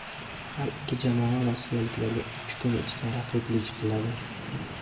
Har ikki jamoa rossiyaliklarga uch kun ichida raqiblik qiladi.